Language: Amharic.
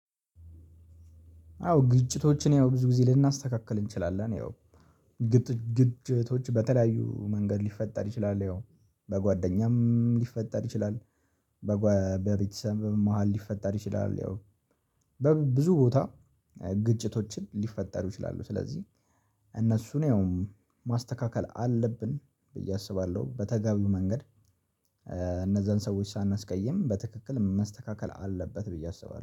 አዎ ግጭቶችን ያው ብዙ ጊዜ ልናስተካክል እንችላለን ያው ግጭቶች በተለያዩ መንገድ ሊፈጠር ይችላል ያው በጓደኛም ሊፈጠር ይችላል። በቤተሰብም መሃል ሊፈጠር ይችላል ያው በብዙ ቦታ ግጭቶችን ሊፈጠር ይችላሉ። ስለዚህ እነሱን ያውም ማስተካከል አለብን ብዬ አስባለሁ በተጋቢው መንገድ እነዛን ሰዎች ሳናስቀይም በትክክል መስተካከል አለበት ብዬ አስባለሁ